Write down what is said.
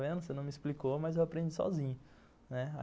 Você não me explicou, mas eu aprendi sozinho, né.